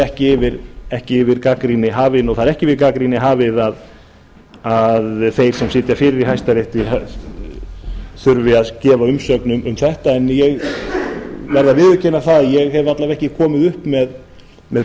hún er ekki yfir gagnrýni hafin og það er ekki yfir gagnrýni hafið að þeir sem sitja fyrir í hæstarétti þurfi að gefa umsögn um þetta en ég verð að viðurkenna að ég hef alla vega ekki komið upp með